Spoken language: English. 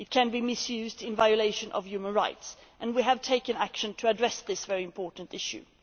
It can be misused in violation of human rights, and we have taken action to address this very important issue.